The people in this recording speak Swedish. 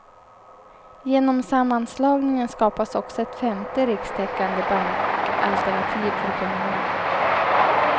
Genom sammanslagningen skapas också ett femte rikstäckande bankalternativ för kunderna.